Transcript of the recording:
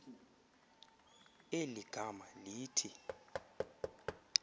eli gama lithi